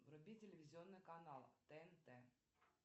вруби телевизионный канал тнт